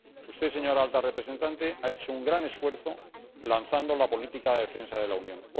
Usted, señora alta representante, ha hecho un gran esfuerzo lanzando la política de defensa de la Unión.